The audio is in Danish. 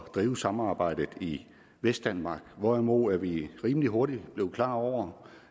drive samarbejdet i vestdanmark hvorimod vi rimelig hurtigt blev klar over